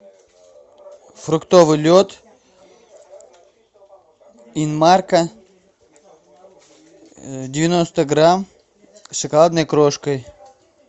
фруктовый лед инмарко девяносто грамм с шоколадной крошкой